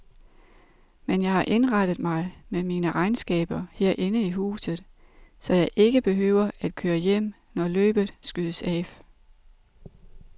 Men jeg har indrettet mig med mine regnskaber herinde i huset, så jeg ikke behøver at køre hjem, når løbet skydes af.